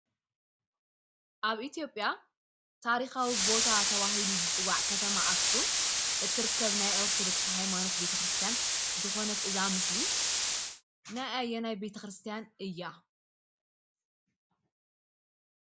አብ ኢትዮጵያ ታሪኻዊ ቦታ ተባሂሉ ዝፅዋዕ ከተማ ኣክሱም እትርከብ ናይ ኦርቶዶክስ ሃይማኖት ቤተክርስትያን ዝኾነት እዛ ምስሊ ናይ ኣየናይ ቤተኽርስትያን እያ?